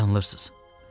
Yanılırsız.